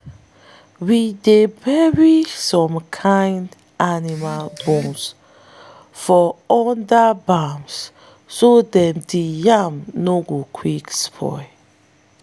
we dey bury some kin animal bones for under barn so day di yam no go fit spoil.